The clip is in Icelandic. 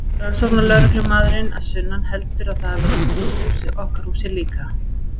Rannsóknarlögreglumaðurinn að sunnan heldur að það hafi verið kveikt í okkar húsi líka.